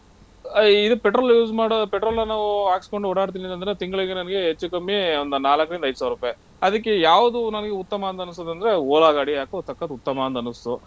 ಆ ಇದು petrol use ಮಾಡೋ petrol ನ ನಾವು ಹಾಕ್ಸ್ಕೊಂಡ್ ಓಡಾಡ್ತಿನ್ ಅಂದ್ರೆ ತಿಂಗ್ಳುಗೆ ನಮಿಗೆ ಹೆಚ್ಚು ಕಮ್ಮಿ ಒಂದ್ ನಾಲಕ್ರಿಂದ ಐದ್ ಸಾವ್ರುಪೈ. ಅದಿಕ್ಕೆ ಯಾವ್ದು ನಮಿಗೆ ಉತ್ತಮ ಅಂತ ಅನಿಸುದಂದ್ರೆ Ola ಗಾಡಿ ಯಾಕೋ ಸಕ್ಕತ್ತ್ ಉತ್ತಮ ಅಂತ ಅನ್ನಿಸ್ತು.